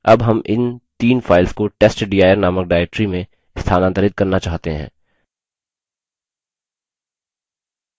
अब हम इन तीन files को testdir नामक directory में स्थानांतरित करना चाहते हैं